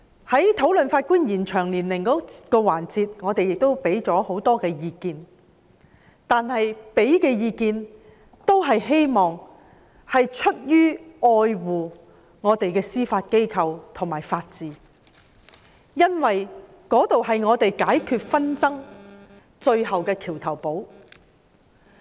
在討論延展司法人員退休年齡的環節中，我們提供了很多意見，都是出於愛護本港的司法機構及法治，因為那兒是我們解決紛爭最大的橋頭堡。